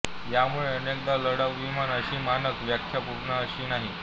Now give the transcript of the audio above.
यामुळे अनेकदा लढाऊ विमान अशी मानक व्याख्या पूर्ण अशी नाही